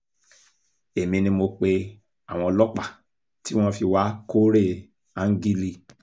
èmi ni mo pe àwọn ọlọ́pàá tí wọ́n fi wàá kóòré áńgílíì